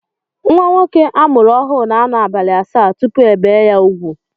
Nwa nwoke a mụrụ ọhụụ na-anọ abalị asaa tupu ebee ya úgwù